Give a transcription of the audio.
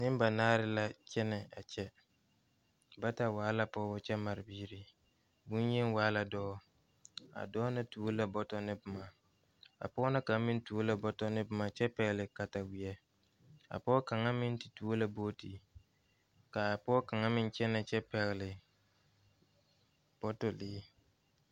Neŋbanaare la kyɛnɛ a kyɛ bata waa la pɔɔbɔ kyɛ mare biire bonyeni waa la dɔɔ a dɔɔ na tuo la bɔtɔ ne bomma a pɔgɔ na kaŋ meŋ tuo la bɔtɔ ne bomma kyɛ pɛgle katawie a pɔgɔ kaŋa meŋ te tuo la boote kaa pɔɔ kaŋa meŋ kyɛnɛ kyɛ pɛgle bɔtɔ bilii.